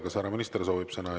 Kas härra minister soovib sõna?